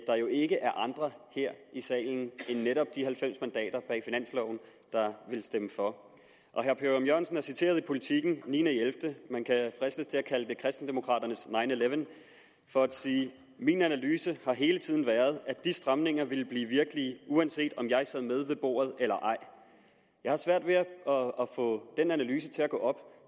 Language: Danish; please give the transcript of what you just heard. der jo ikke er andre her i salen end netop de halvfems mandater bag finansloven der vil stemme for herre per ørum jørgensen er citeret i politiken den ni elleve man kan fristes til at kalde det kristendemokraternes nineeleven for at sige min analyse har hele tiden været at de stramninger ville blive virkelige uanset om jeg sad med ved bordet eller ej jeg har svært ved at få den analyse til at gå op